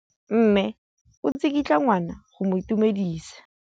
Mme o tsikitla ngwana go mo itumedisa.